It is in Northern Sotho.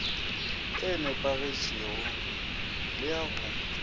e nepagetšego le ya go